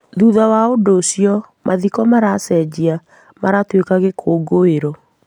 Thutha wa ũndu ũcio mathiko marecejia maratuĩka gĩkũngũĩro